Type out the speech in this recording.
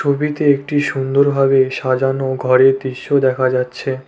ছবিতে একটি সুন্দরভাবে সাজানো ঘরের দৃশ্য দেখা যাচ্ছে।